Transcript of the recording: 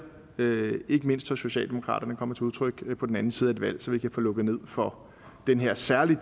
ikke mindst hos socialdemokraterne kommer til udtryk på den anden side et valg så vi kan få lukket ned for den her særlig